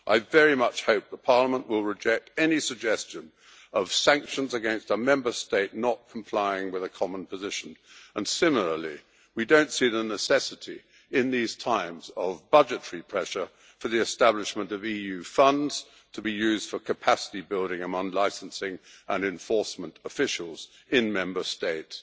I very much hope the Parliament will reject any suggestion of sanctions against a Member State not complying with a common position, and similarly, we don't see the necessity, in these times of budgetary pressure, for the establishment of EU funds to be used for capacity building among licensing and enforcement officials in Member States.